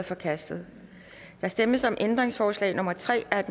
forkastet der stemmes om ændringsforslag nummer tre af